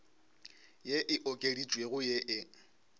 ye e okeditšwego ye e